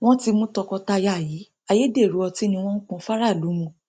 wọn ti mú tọkọtaya yìí ayédèrú ọtí ni wọn ń pọn fáráàlú mu